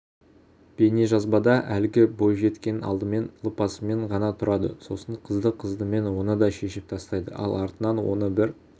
бейнежазбада әлгі бойжеткен алдымен лыпасымен ғана тұрады сосын қызды-қыздымен оны да шешіп тастайды ал артынан оны бір